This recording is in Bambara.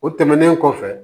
O tɛmɛnen kɔfɛ